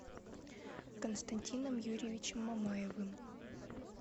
константином юрьевичем мамаевым